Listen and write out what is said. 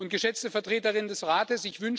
Geschätzte Vertreterin des Rates!